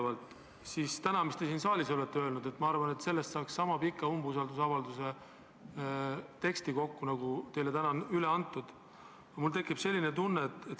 Sellest, mis te täna siin saalis olete öelnud, ma arvan, saaks kokku niisama pika umbusaldusavalduse teksti, nagu teile täna on üle antud.